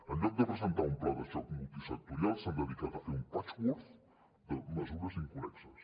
en lloc de presentar un pla de xoc multisectorial s’han dedicat a fer un patchwork de mesures inconnexes